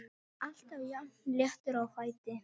Alltaf jafn léttur á fæti.